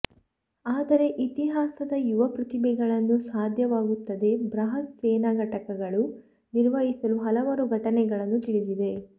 ಆದರೆ ಇತಿಹಾಸದ ಯುವ ಪ್ರತಿಭೆಗಳನ್ನು ಸಾಧ್ಯವಾಗುತ್ತದೆ ಬೃಹತ್ ಸೇನಾ ಘಟಕಗಳು ನಿರ್ವಹಿಸಲು ಹಲವಾರು ಘಟನೆಗಳನ್ನು ತಿಳಿದಿದೆ